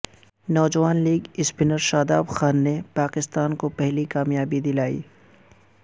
نوجوان leg spinner Shadab Khan نے پاکستان کو پہلی کامیابی دلائی